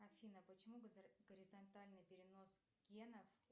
афина почему горизонтальный перенос генов